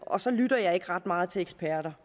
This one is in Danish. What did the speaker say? og så lytter jeg ikke ret meget til eksperter